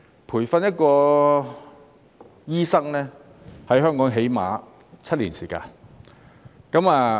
培訓一名醫生，在香港最少需要7年時間。